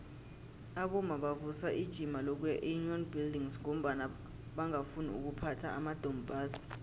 abomma bavusa ijima lokuya eunion buildings ngombana bangafuni ukuphatha amadompass